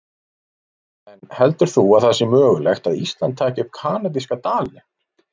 En heldur þú að það sé mögulegt að Ísland taki upp kanadíska dalinn?